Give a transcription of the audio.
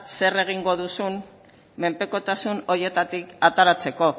zer egingo duzun menpekotasun horietatik ateratzeko